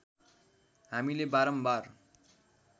हामीले बारम्बार